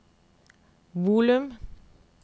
volum